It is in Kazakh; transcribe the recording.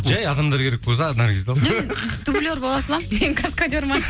жай адамдар керек болса наргизді ал дублер бола саламын мен каскадер ме